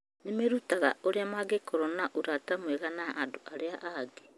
Nĩ merutaga ũrĩa mangĩkorwo na ũrata mwega na andũ arĩa angĩ.